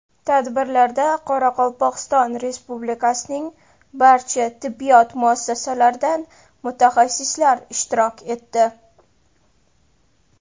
Tadbirlarda Qoraqalpog‘iston Respublikasining barcha tibbiyot muassasalaridan mutaxassislar ishtirok etdi.